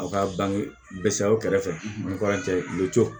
Aw ka bange bɛ sa aw kɛrɛfɛ ni kuran cɛ luto